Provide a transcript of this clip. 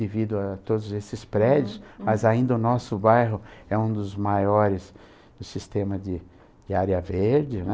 Devido a todos esses prédios, mas ainda o nosso bairro é um dos maiores do sistema de de área verde, né?